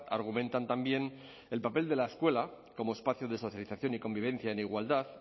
argumentan también el papel de la escuela como espacio de socialización y convivencia en igualdad